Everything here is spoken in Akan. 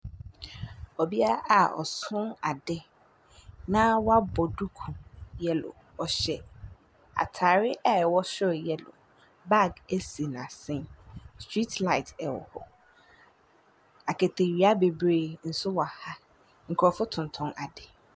ℇbea a ɔso ade na wabɔ duku yellow, ɔhyɛ ataare a ɛwɔ soro yellow. Bag si n’asene, street light nso wɔ hɔ. akatawia bebiree nso wɔ ha. Nkurɔfo tontɔn ade.